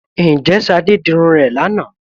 Ǹjẹ́ Ṣadé dirun rẹ̀ lánàá?